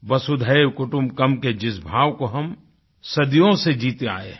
वसुधैव कुटुम्बकम् के जिस भाव को हम सदियों से जीते आये हैं